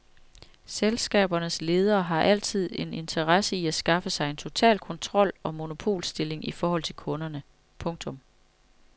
Selskabernes ledere har altid en interesse i at skaffe sig en total kontrol og monopolstilling i forhold til kunderne. punktum